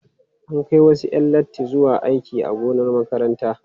An kai wasu 'yan latti zuwa aiki a gonar makarantar.